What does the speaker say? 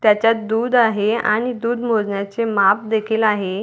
त्याच्यात दूध आहे आणि दूध मोजण्याचे माप देखील आहे.